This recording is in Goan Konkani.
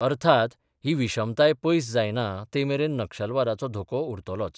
अर्थात, ही विशमताय पयस जायना ते मेरेन नक्षलवादाचो धोको उरतलोच.